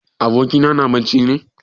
Abokina na bacci ne?